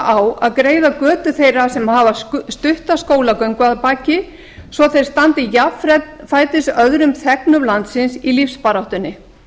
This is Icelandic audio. á að greiða götu þeirra sem hafa stutta skólagöngu að baki svo að þeir standi jafnfætis öðrum þegnum landsins í lífsbaráttunni